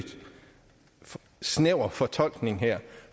snæver fortolkning her